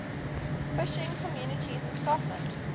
fishing communities in scotland